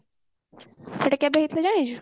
ସେଟା କେବେ ହେଇଥିଲା ଜାଣିଛୁ